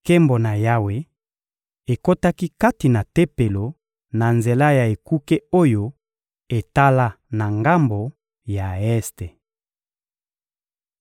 Nkembo na Yawe ekotaki kati na Tempelo na nzela ya ekuke oyo etala na ngambo ya este.